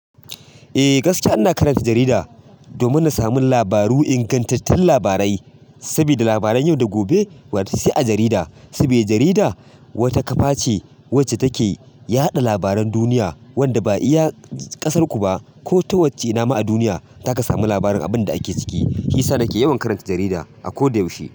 Eh gaskiya ina karanta jarida domin na samu labaru, ingantattun labarai. Sabida labaran yau da gobe wato sai a jarida. Sabida jarida wata ƙafa ce wacce take yaɗa labaran duniya, wanda ba iya ƙasarku ba ko ta wacce nama a duniya, za ka samu labarin abin da ake ciki. Shiyasa na ke yawan karanta jarida a koda yaushe.